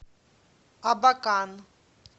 абакан